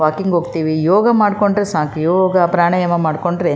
walking ಹೋಗತೀವಿ ಯೋಗ ಮಾಡ್ಕೊಂಡ್ರೆ ಸಾಕು ಯೋಗ ಪ್ರಾಣಾಯಾಮ ಮಾಡ್ಕೊಂಡ್ರೆ --